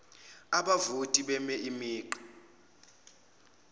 abavoti beme imigqa